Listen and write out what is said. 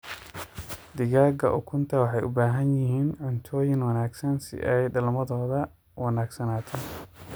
Digaaga ukunta waxay ubahanyihiin cuntoyiin wanagsan si ay dalmadhodha uwanagsanato.